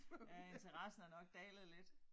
Ja interessen er nok dalet lidt